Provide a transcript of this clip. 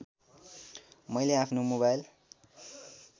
मैले आफ्नो मोबाइल